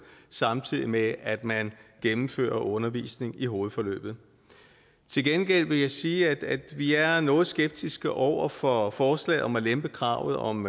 samtidig med at man gennemfører undervisningen på hovedforløbet til gengæld vil jeg sige at vi er noget skeptiske over for forslaget om at lempe kravet om